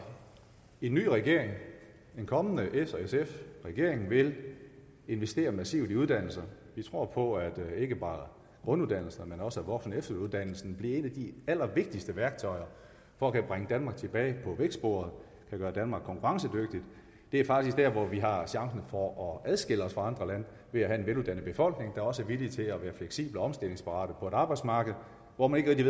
en ny regering en kommende s sf regering vil investere massivt i uddannelse vi tror på at ikke bare grunduddannelser men også voksen og efteruddannelser vil blive et af de allervigtigste værktøjer for at bringe danmark tilbage på vækstbordet gøre danmark konkurrencedygtigt det er faktisk dér hvor vi har chancen for at adskille os fra andre lande ved at have en veluddannet befolkning der også er villig til at være fleksibel og omstillingsparat på et arbejdsmarked hvor man ikke